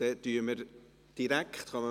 Dann kommen wir direkt zur …